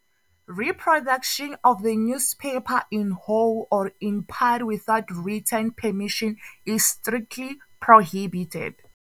Reproduction of the newspaper in whole or in part without written permission is strictly prohibited.